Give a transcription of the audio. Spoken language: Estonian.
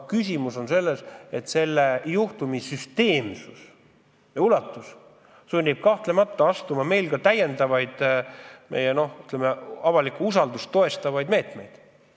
Küsimus on selles, et selle juhtumi süsteemsus ja ulatus sunnib meid rakendama avalikkuse usaldust toetavaid meetmeid.